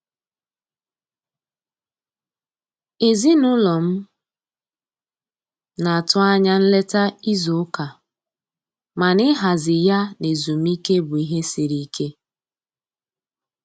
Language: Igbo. Ezinụlọ m na-atụ anya nleta izu ụka, mana ịhazi ya na ezumike bụ ihe siri ike.